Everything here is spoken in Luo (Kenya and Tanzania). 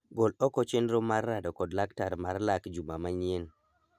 Gol oko chenro mar rado kod laktar mar lak juma manyien.